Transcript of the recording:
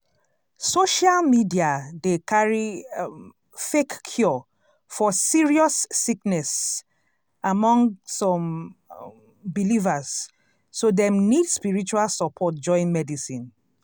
social media dey carry um fake cure for serious sickness among some um believers so dem nid spiritual support join medicine.